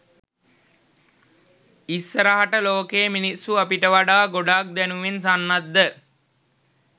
ඉස්සරහට ලෝකේ මිනිස්සු අපිට වඩා ගොඩක් දැනුමින් සන්නද්ධ